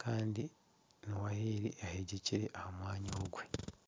kandi ewaaya ahu eri eyegyekire omu mwanya ogwo